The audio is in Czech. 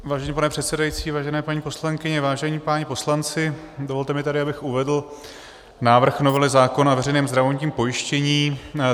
Vážený pane předsedající, vážené paní poslankyně, vážení páni poslanci, dovolte mi tedy, abych uvedl návrh novely zákona o veřejném zdravotním pojištění.